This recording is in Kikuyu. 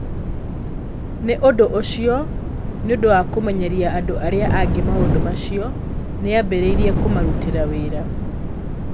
Nĩ ũndũ ũcio, nĩ ũndũ wa kũmenyeria andũ arĩa angĩ maũndũ macio, nĩ aambĩrĩirie kũmarutĩra wĩra.